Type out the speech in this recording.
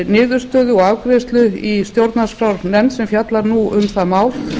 niðurstöðu og afgreiðslu í stjórnarskrárnefnd sem fjallar nú um það mál